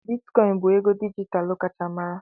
Bitikoin bụ ego dijitalụ kacha mara.